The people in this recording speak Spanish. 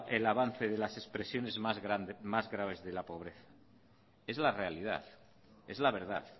el avance de las expresiones más graves de la pobreza es la realidad es la verdad